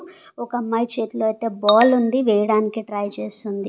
ఒకమ్మాయి చేతిలో ఐతే బాల్ ఉంది వేయడానికి ట్రై చేస్తుంది.